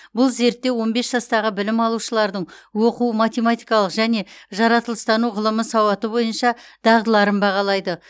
бұл зерттеу он бес жастағы білім алушылардың оқу математикалық және жаратылыстану ғылымы сауаты бойынша дағдыларын бағалайды